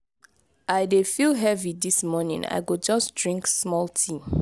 i dey feel heavy dis morning i go just drink small tea.